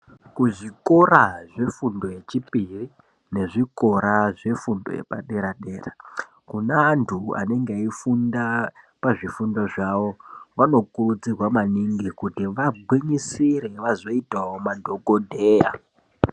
Ku zvikora zvefundo yechipiri nezvikora zve fundo yepa dera dera kune antu anenge eyifunda pazvifundo zvawo vanokurudzirwa maningi kuti vagwinyisire vazoitawo ma dhokodheya.